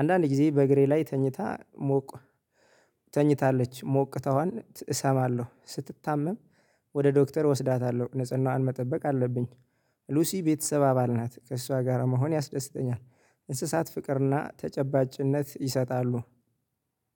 አንዳንድ ጊዜ በእግሬ ላይ ተኝታ ሞቅ ተኝታለች ሞቅታዋን እሰማለሁ ስትታመም። ወደ ዶክተር እወስዳታለሁ ንጽህናዋን መጠበቅ አለብኝ። ሉሲ ቤተሰብ አባል ናት ከእሷ ጋር መሆን ያስደስተኛል። እንስሳት ፍቅርና ተጨባጭነት ይሰጣሉ።